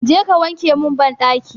Je ka wanke min banɗaki!